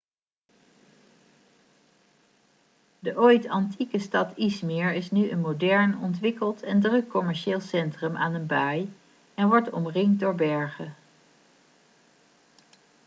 de ooit antieke stad i̇zmir is nu een modern ontwikkeld en druk commercieel centrum aan een baai en wordt omringd door bergen